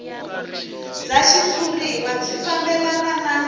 bya xitshuriwa byi fambelana na